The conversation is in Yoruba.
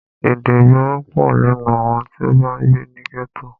Èdè ìgboro pọ̀ lẹ́nu àwọn tí o bá ń gbé ní gẹ́tò.